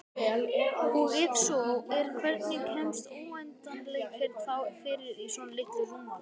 Og ef svo er hvernig kemst óendanleikinn þá fyrir í svona litlu rúmmáli?